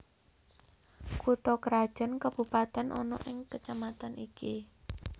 Kutha krajan kabupatèn ana ing kacamatan iki